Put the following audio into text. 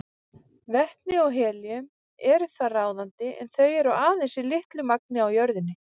Vetni og helíum eru þar ráðandi en þau eru aðeins í litlu magni á jörðinni.